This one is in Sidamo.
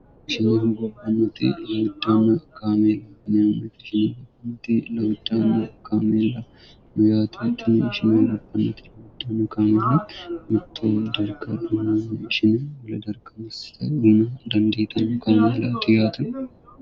ishinehu gobannati lawuan kaameel nsgont 2wcan kaamela meyttnsingopnnti lwuno kaamela bixxoo jirka imshine uladarkamissite yiina dandi dou kaamela kiyatu